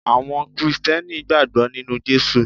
Àwọn Krìsìtẹ́nì gbàgbọ́ nínu Jésù